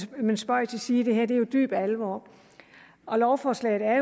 det men spøg til side det her er jo dyb alvor lovforslaget er